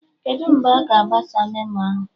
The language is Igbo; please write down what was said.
Kedụ mgbe aga agbasa memo ahụ?